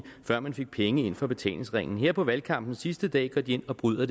før man fik penge ind fra betalingsringen her på valgkampens sidste dag går de ind og bryder